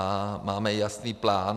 A máme jasný plán.